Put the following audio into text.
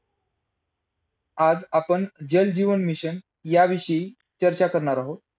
deactor ची भूमिका महत्त्वाची असते.